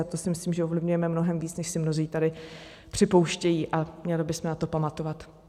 A to si myslím, že ovlivňujeme mnohem víc, než si mnozí tady připouštějí, a měli bychom na to pamatovat.